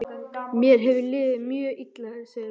Mér hefur liðið mjög illa, segir hún.